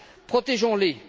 Protégeons les.